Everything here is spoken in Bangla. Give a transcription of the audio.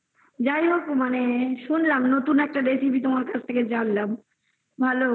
আচ্ছা যাইহোক মানে শুনলাম নতুন একটা নতুন recipe তোমার কাছ থেকে জানলাম ভালো